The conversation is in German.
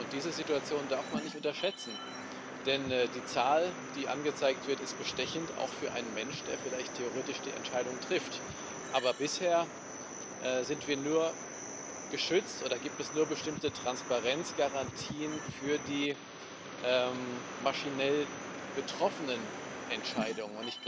Diese Situation darf man nicht unterschätzen, denn die Zahl, die angezeigt wird, ist bestechend auch für einen Menschen, der vielleicht theoretisch die Entscheidung trifft aber bisher sind wir nur geschützt oder gibt es nur bestimmte Transparenzgarantien für die maschinell getroffenen Entscheidungen.